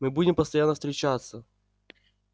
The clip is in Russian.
мы будем постоянно встречаться